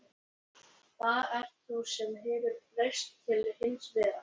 Það ert þú sem hefur breyst til hins verra.